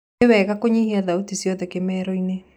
nĩ sawa google nyĩhĩa thaũtĩ cĩothe kimero-ini